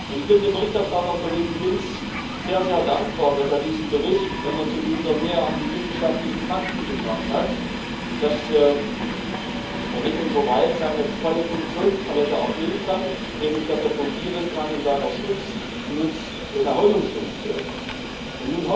Ich bin dem Berichterstatter, Kollegen Lins, sehr, sehr dankbar, dass er diesen Bericht, wenn man so will, wieder näher an die wissenschaftlichen Fakten gebracht hat, damit unser Wald seine volle Funktionspalette erfüllen kann, nämlich dass er in seiner Schutz Nutz und Erholungsfunktion fungieren kann.